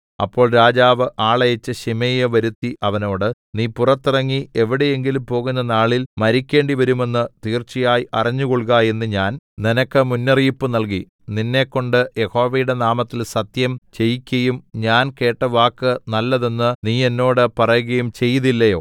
അപ്പോൾ രാജാവ് ആളയച്ച് ശിമെയിയെ വരുത്തി അവനോട് നീ പുറത്തിറങ്ങി എവിടെയെങ്കിലും പോകുന്ന നാളിൽ മരിക്കേണ്ടിവരുമെന്ന് തീർച്ചയായി അറിഞ്ഞുകൊൾക എന്ന് ഞാൻ നിനക്ക് മുന്നറിയിപ്പ് നൽകി നിന്നെക്കൊണ്ട് യഹോവയുടെ നാമത്തിൽ സത്യം ചെയ്യിക്കയും ഞാൻ കേട്ട വാക്ക് നല്ലതെന്ന് നീ എന്നോട് പറകയും ചെയ്തില്ലയോ